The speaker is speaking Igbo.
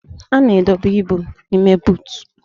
A na-edobe ibu n'ime buutu